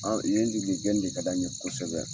Awɔ yen gɛn de ka d'an ye kosɛbɛ.